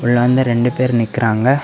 இதுல வந்து ரெண்டு பேர் நிக்கிறாங்க.